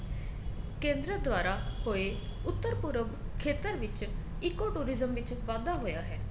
ਕੇਂਦਰ ਦੁਆਰਾ ਹੋਏ ਉੱਤਰ ਪੁਰਬ ਖੇਤਰ ਵਿੱਚ ਇੱਕੋ tourism ਵਿੱਚ ਵਾਧਾ ਹੋਇਆ ਹੈ